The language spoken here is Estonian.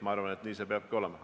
Ma arvan, et nii see peabki olema.